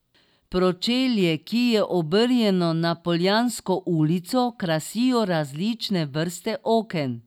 Pročelje, ki je obrnjeno na Poljansko ulico, krasijo različne vrste oken.